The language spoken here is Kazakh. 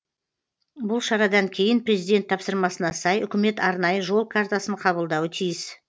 бұл шарадан кейін президент тапсырмасына сай үкімет арнайы жол картасын қабылдауы тиіс